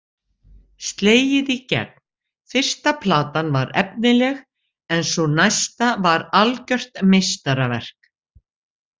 Slegið í gegn Fyrsta platan var efnileg, en sú næsta var algjört meistaraverk.